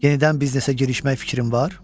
Yenidən biznesə girişmək fikrim var?